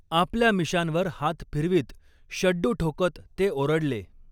आपल्या मिशांवर हात फिरवीत, शड्डू ठोकत ते ओरडले.